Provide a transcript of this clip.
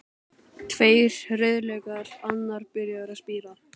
Tveir rauðlaukar, annar byrjaður að spíra.